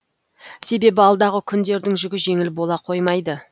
себебі алдағы күндердің жүгі жеңіл бола қоймайды